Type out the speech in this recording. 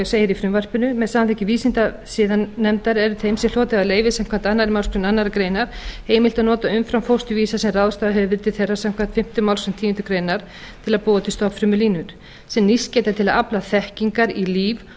er þeim sem hlotið hafa leyfi samkvæmt annarri málsgrein annarrar greinar heimilt að nota umframfósturvísa sem ráðstafað hefur verið til þeirra samkvæmt fimmtu málsgrein tíundu greinar til að búa til stofnfrumulínur sem nýst geta til að afla þekkingar í líf og